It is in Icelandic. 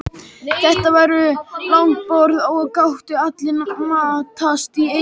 Þetta var langborð og gátu allir matast í einu.